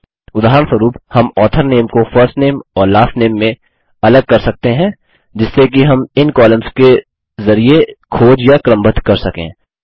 उदाहरणस्वरुप हम author name को फर्स्ट नामे और लास्ट नामे में अलग कर सकते हैं जिससे कि हम इन कॉलम्स के जरिये खोज या क्रमबद्ध कर सकें